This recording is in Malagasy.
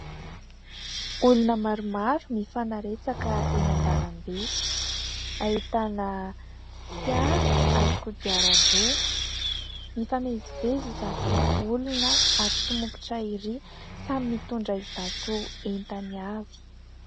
Olona maromaro mifanaretsaka eny an-dalambe ahitana fiara ary kodiaran-droa mifamezivezy izato olona ary somokotra ery samy mitondra izato entany avy